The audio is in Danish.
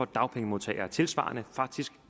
dagpengemodtagere tilsvarende faktisk